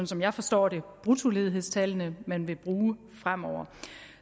som jeg forstår det er bruttoledighedstallene man vil bruge fremover